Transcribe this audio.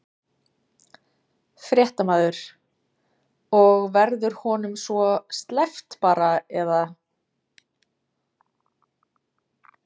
Fréttamaður: Og verður honum svo sleppt bara eða?